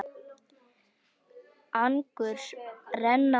Angurs renna vogar.